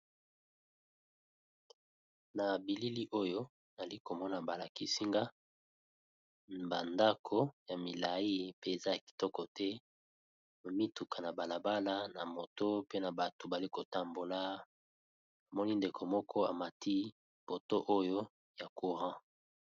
Na bilili oyo ali komona balakisinga bandako ya milai pe eza ya kitoko te bomituka na balabala na moto pe na bato bali kotambola amoni ndeko moko amati poto oyo ya courant.